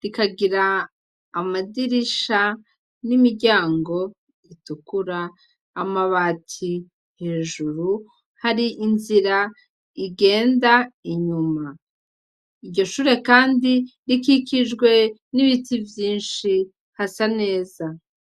rikagira amadirisha n'imiryango itukura, amabati hejuru hari n'inzira igenda inyuma, iryo shure kandi rikikijwe n'ibiti vyinshi hasa neza.